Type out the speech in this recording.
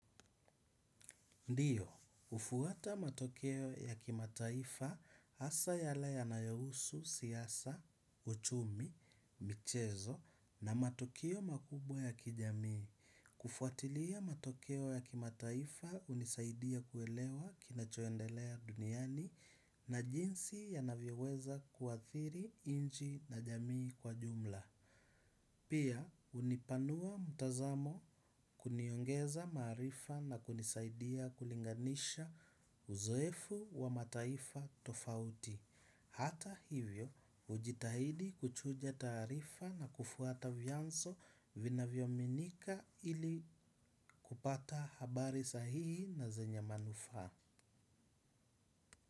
Ndiyo, hufuata matokeo ya kimataifa hasa yale yanayohusu siasa, uchumi, michezo na matokeo makubwa ya kijamii. Kufuatilia matokeo ya kimataifa hunisaidia kuelewa kinachoendelea duniani na jinsi yanavyoweza kuathiri nchi na jamii kwa jumla. Pia, hunipanua mtazamo kuniongeza maarifa na kunisaidia kulinganisha uzoefu wa mataifa tofauti. Hata hivyo, hujitahidi kuchuja taarifa na kufuata vianzo vinavyoaminika ili kupata habari sahihi na zenye manufaa.